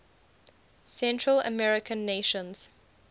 central american nations